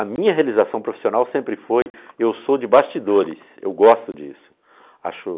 A minha realização profissional sempre foi, eu sou de bastidores, eu gosto disso.